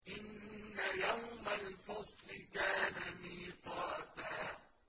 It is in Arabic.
إِنَّ يَوْمَ الْفَصْلِ كَانَ مِيقَاتًا